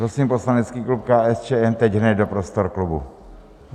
Prosím poslanecký klub KSČM teď hned do prostor klubu.